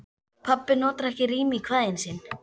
Pabbi notar ekki rím í kvæðin sín.